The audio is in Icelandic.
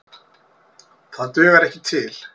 Það dugar ekki til.